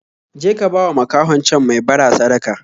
Je ka bawa makahon can mai bara sadaka